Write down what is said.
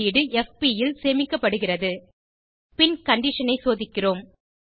வெளியீடு எஃபி ல் சேமிக்கப்படுகிறது பின் கண்டிஷன் ஐ சோதிக்கிறோம்